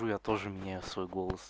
я тоже мне свой голос